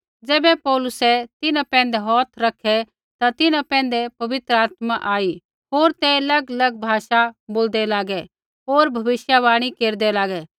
ज़ैबै पौलुसै तिन्हां पैंधै हौथ रखै ता तिन्हां पैंधै पवित्र आत्मा आई होर ते अलगअलग भाषा बोलदै लागै होर भविष्यवाणी केरदै लागै